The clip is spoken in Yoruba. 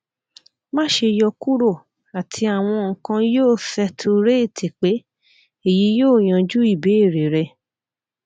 má ṣe yọkuro ati awọn nǹkan yoo sẹturéètì pé eyi yoo yanju ibeere rẹ